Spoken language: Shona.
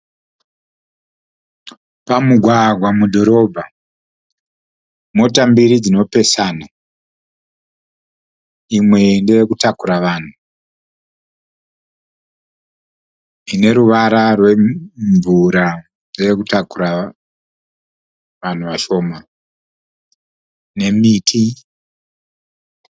Pamugwagwa mudhorobha. Mota mbiri dzinopesana. Imwe ndeye kutakura vanhu. Ine ruvara rwemvura ndeye kutakura vanhu vashoma nemiti